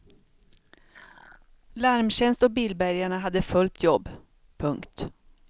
Larmtjänst och bilbärgarna hade fullt jobb. punkt